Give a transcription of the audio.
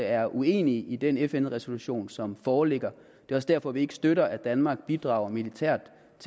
er uenige i den fn resolution som foreligger det er også derfor vi ikke støtter at danmark bidrager militært